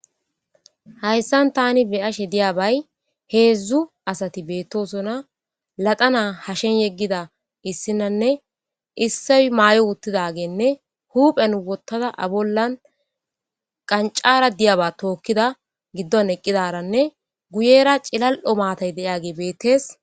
hayssan tani biyashe diyabay heedzdzu asati beettosona laxana hashen yeggida issinanne isse maay7o uttidageenne huphen wottada abollan qancara diyaba tookkida giddon eqqidaranne guyera cilal7o maatay deiyage beettees